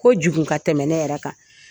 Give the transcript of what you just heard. Kojugun ka tɛmɛ ne yɛrɛ kan.